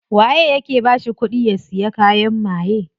Waye yake bashi kudi ya siya kayan maye?